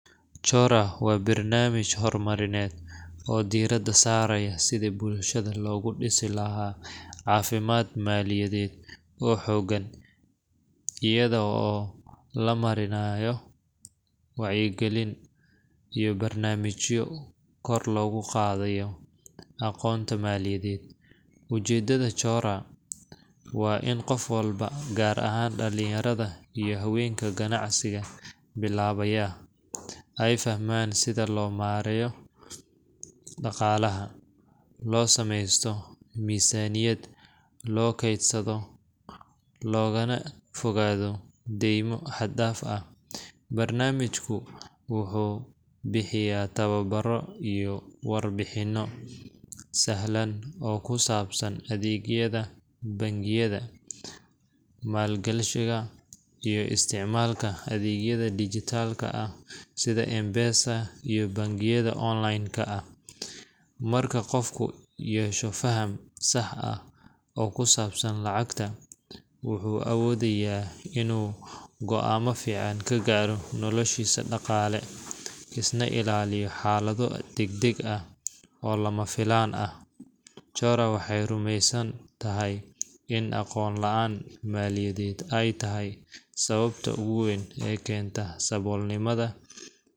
Chora waa barnaamij horumarineed oo diiradda saaraya sidii bulshada loogu dhisi lahaa caafimaad maaliyadeed oo xooggan, iyada oo la marinayo wacyigelin iyo barnaamijyo kor loogu qaadayo aqoonta maaliyadeed. Ujeeddada Chora waa in qof walba, gaar ahaan dhallinyarada iyo haweenka ganacsiga bilaabaya, ay fahmaan sida loo maarayn karo dhaqaalaha, loo sameysto miisaaniyad, loo keydsado, loogana fogaado deymo xad-dhaaf ah. Barnaamijku wuxuu bixiyaa tababaro iyo warbixino sahlan oo ku saabsan adeegyada bangiyada, maalgashiga, iyo isticmaalka adeegyada dijitaalka ah sida M-PESA iyo bangiyada online-ka ah. Marka qofku yeesho faham sax ah oo ku saabsan lacagta, wuxuu awoodayaa inuu go’aamo fiican ka gaaro noloshiisa dhaqaale, iskana ilaaliyo xaalado degdeg ah oo lama filaan ah. Chora waxay rumaysan tahay in aqoon la’aan maaliyadeed ay tahay sababta ugu weyn ee keenta saboolnimadha.